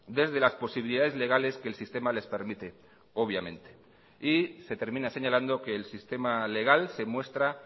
desde las posibilidades legales que el sistema les permite obviamente y se termina señalando que el sistema legal se muestra